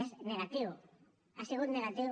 és negatiu ha sigut negatiu